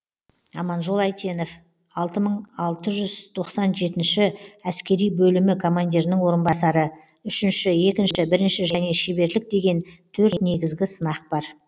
аманжол әйтенов алты мың алты жүз тоқсан жетінші әскери бөлімі командирінің орынбасары үшінші екінші бірінші және шеберлік деген төрт негізгі сынақ бар